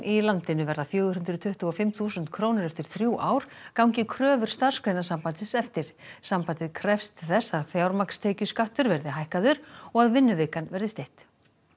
í landinu verða fjögur hundruð tuttugu og fimm þúsund krónur eftir þrjú ár gangi kröfur Starfsgreinasambandsins eftir sambandið krefst þess að fjármagnstekjuskattur verði hækkaður og að vinnuvikan verði stytt